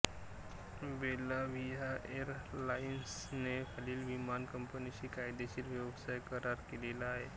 Belavia एरलाइन्सने खालील विमान कंपनीशी कायदेशीर व्यवसाय करार केलेले आहेत